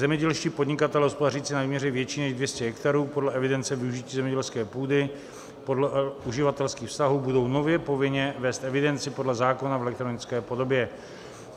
Zemědělští podnikatelé hospodařící na výměře větší než 200 hektarů podle evidence využití zemědělské půdy, podle uživatelských vztahů, budou nově povinně vést evidenci podle zákona v elektronické podobě.